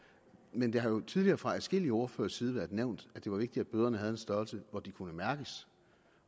men det har jo tidligere fra adskillige ordføreres side været nævnt at det var vigtigt at bøderne havde en størrelse så de kunne mærkes